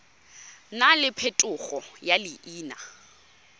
nna le phetogo ya leina